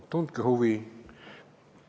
Tundke huvi!